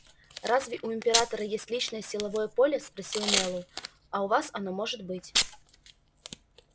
разве у императора есть личное силовое поле спросил мэллоу а у вас оно может быть